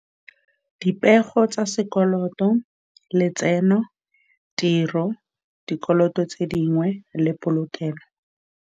Dipego tsa sekoloto, letseno, tiro, dikoloto tse dingwe, le polokelo.